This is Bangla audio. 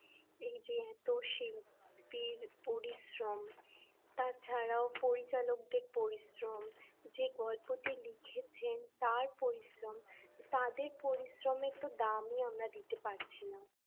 এই যে এত শিল্পীর পরিশ্রম তাছাড়াও পরিচালকদের পরিশ্রম যে গল্পটি লিখেছেন তার পরিশ্রম তাদের পরিশ্রম একটু দামই আমরা দিতে পারছি না